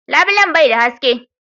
Labilen bai da haske.